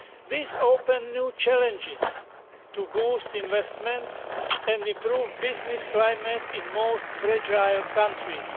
This opens new challenges to boost investments and improve the business climate in the most fragile countries.